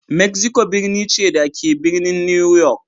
Mexico birni ce, da ke a birnin New York.